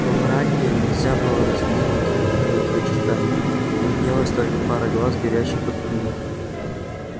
во мраке нельзя было разглядеть никаких определённых очертаний виднелась только пара глаз горящих как угли